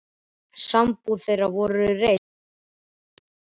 Sambúð þeirra er reist á þeirri von.